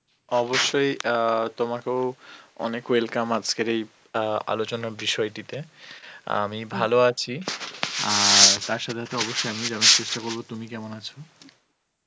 অবশ্যই আ তোমাকেও অনেক welcome আজকের এই আ আলোচলার বিষয়টি তে আমি আছি আর তার সথে সথে অবশ্যই জানার চেষ্ঠা করবো তুমি কেমন আছো?